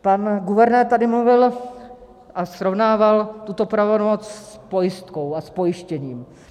Pan guvernér tady mluvil a srovnával tuto pravomoc s pojistkou a s pojištěním.